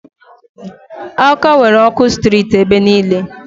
Awka nwere ọkụ sitirit ebe niile.